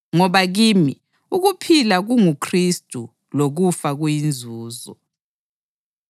Ngoba kimi, ukuphila kunguKhristu lokufa kuyinzuzo.